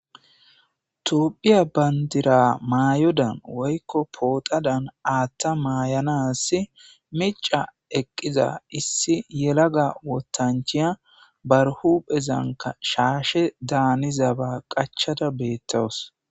toopphiya bandira maayodan woykko pootadan aathta maayanasi mica eqqiza issi yelaga wotanchiya barhu phezanka shaashe daanizaba qachada beettawus